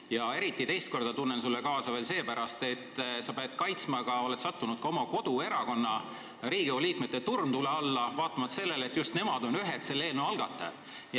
Ja teiseks, ma tunnen sulle kaasa sellepärast, et sa oled siin saalis sattunud ka oma koduerakonna liikmete turmtule alla, vaatamata sellele, et just nemad on ühed selle eelnõu algatajad.